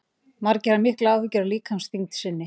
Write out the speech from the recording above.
Margir hafa miklar áhyggjur af líkamsþyngd sinni.